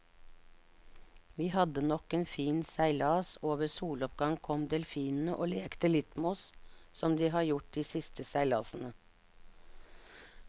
Vi hadde nok en fin seilas, og ved soloppgang kom delfinene og lekte litt med oss som de har gjort de siste seilasene.